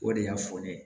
O de y'a fɔ ne ye